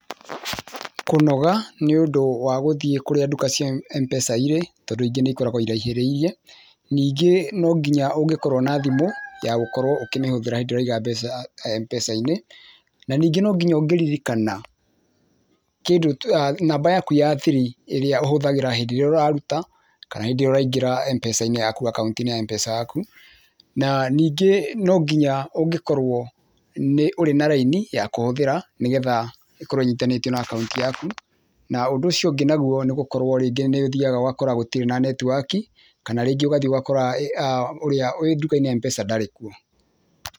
Kũnoga nĩ ũndũ wa gũthiĩ kũrĩa nduka cia Mpesa irĩ, tondũ ingĩ nĩikoragwo iraihĩrĩirie, ningĩ no nginya ũngĩ korwo na thimũ ya gũkorwo ũkũmĩhũthĩra hĩndĩ ĩrĩa ũraiga mbeca Mpesa -inĩ, na ningĩ no nginya ũngĩririkana, namba yaku ya thiri, ĩrĩa ũhũthagĩra hĩndĩ ĩrĩa ũraruta kana hĩndĩ ĩrĩa ũraingĩra Mpesa -inĩ yaku akaũnti-inĩ ya Mpesa yaku, na ningĩ no nginya ũngĩkorwo nĩ ũrĩ na raini ya kũhũthĩra, nĩ getha ĩkorwo ĩnyitithanĩtio na akaũnti yaku na ũndũ ũcio ũngĩ naguo, nĩ gũkorwo rĩngĩ nĩ ũthiaga ũgakora rĩngĩ gũtirĩ na network kana rĩngĩ ũgathiĩ ũgakora ũrĩa wĩ nduka-inĩ ya Mpesa ndarĩ kuo.